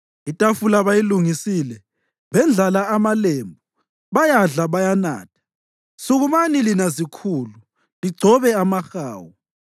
Itafula bayilungisile, bendlala amalembu bayadla, bayanatha. Sukumani lina zikhulu, ligcobe amahawu!